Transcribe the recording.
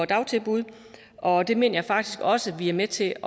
dagtilbud og det mener jeg faktisk også vi er med til